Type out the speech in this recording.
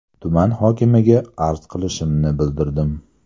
Tuman hokimiga arz qilishimni bildirdim.